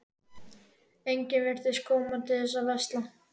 Enginn virtist kominn til að versla.